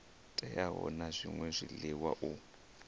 teaho na zwṅwe zwiḽiwa u